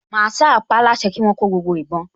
Màsáà paáláṣẹ kí wọ́n kó gbogbo ìbọn